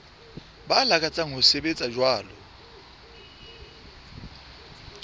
ba lakatsang ho sebetsa jwalo